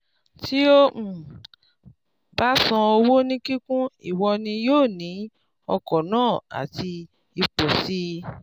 tí o um bá san owó ní kíkún ìwọ ni yóò ní ọkọ̀ náà àti ipò sì